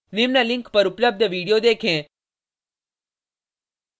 निम्न link पर उपलब्ध video देखें